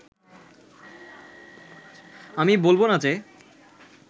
আমি বলবো না যে